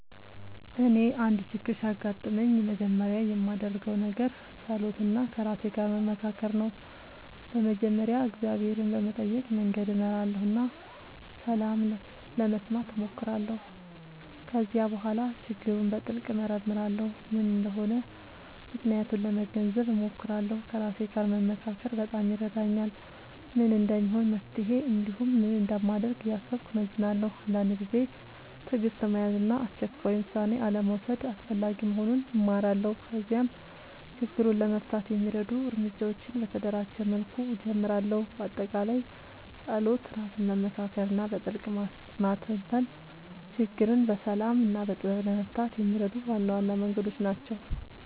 እኔ አንድ ችግር ሲያጋጥምኝ መጀመሪያ የማደርገው ነገር መጸሎት እና ከራሴ ጋር መመካከር ነው። በመጀመሪያ እግዚአብሔርን በመጠየቅ መንገድ እመራለሁ እና ሰላም ለመስማት እሞክራለሁ። ከዚያ በኋላ ችግሩን በጥልቅ እመርመራለሁ፤ ምን እንደሆነ ምክንያቱን ለመገንዘብ እሞክራለሁ። ከራሴ ጋር መመካከር በጣም ይረዳኛል፤ ምን እንደሚሆን መፍትሄ እንዲሁም ምን እንደማደርግ እያሰብኩ እመዝናለሁ። አንዳንድ ጊዜ ትዕግሥት መያዝ እና አስቸኳይ ውሳኔ አልመውሰድ አስፈላጊ መሆኑን እማራለሁ። ከዚያም ችግሩን ለመፍታት የሚረዱ እርምጃዎችን በተደራጀ መልኩ እጀምራለሁ። በአጠቃላይ መጸሎት፣ ራስን መመካከር እና በጥልቅ ማስተንተን ችግርን በሰላም እና በጥበብ ለመፍታት የሚረዱ ዋና ዋና መንገዶች ናቸው።